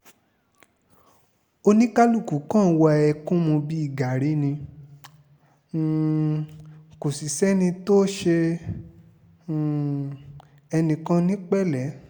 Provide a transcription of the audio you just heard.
oníkálukú kan ń wa ẹkún mu bíi gàárì ni um kò sì sẹ́ni tó ṣe um ẹnì kan ní pẹ̀lẹ́